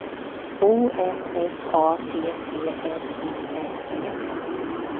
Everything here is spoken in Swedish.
O M F A T T N I N G